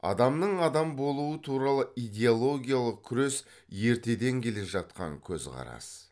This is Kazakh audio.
адамның адам болуы туралы идиологиялық күрес ертеден келе жатқан көзқарас